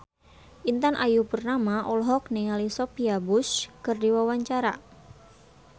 Intan Ayu Purnama olohok ningali Sophia Bush keur diwawancara